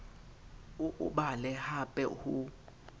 o o bale hape ho